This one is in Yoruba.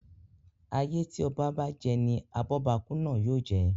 Ayé tí oba bá je ni abóbakú náà yóò je.